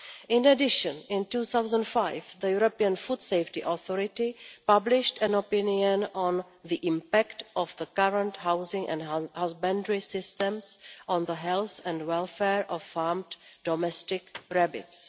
In addition, in 2005 the European Food Safety Authority published an opinion on the impact of the current housing and husbandry systems on the health and welfare of farmed domestic rabbits.